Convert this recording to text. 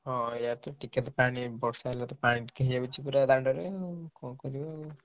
ହଁ ଏଇଆ ତ ଆଉ ଟିକେ ତ ବର୍ଷା ହେଲେ ପାଣି ଟିକେ ହେଇଯାଉଛି ପୁରା ଦାଣ୍ଡରେ ଆଉ କଣ କରିବ ଆଉ।